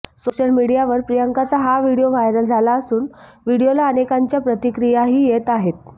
social मीडियावर प्रियंकाचा हा व्हिडीओ व्हायरल झाला असून व्हिडीओला अनेकांच्या प्रतिक्रियाही येत आहेत